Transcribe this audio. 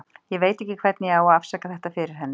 Ég veit ekki hvernig ég á að afsaka þetta fyrir henni.